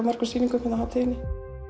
mörgum sýningum á hátíðinni